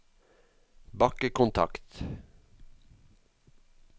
bakkekontakt